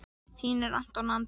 Þínir Anton og Andri.